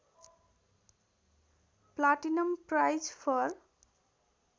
platinum prize for